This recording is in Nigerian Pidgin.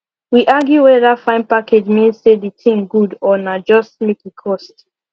we argue whether fine package mean say the thing good or na just make e cost